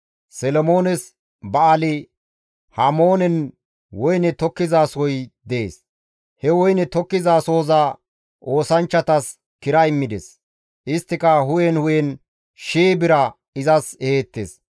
Solomoones Ba7aali-Hamoonen woyne tokkizasohoy dees; he woyne tokkizasohoza oosanchchatas kira immides; isttika hu7en hu7en shii bira izas eheettes.